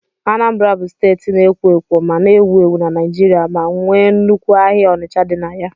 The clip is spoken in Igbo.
Anambra bụ steeti na-ekwo ekwo ma na-ewu ewu na Naijiria ma nwee nnukwu ahịa Onicha dị na ya.